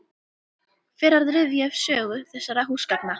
Fer að rifja upp sögu þessara húsgagna.